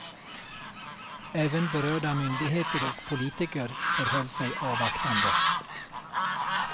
Även berörda myndigheter och politiker förhöll sig avvaktande.